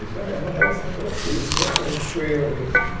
Isso é uma avaliação que ela fez e que ela faz e que foi o e